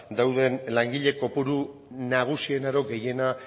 dauden langile kopuru nagusiena edo gehiena